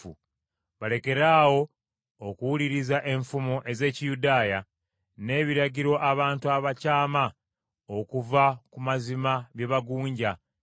balekeraawo okuwuliriza enfumo ez’Ekiyudaaya, n’ebiragiro abantu abakyama okuva ku mazima bye bagunja.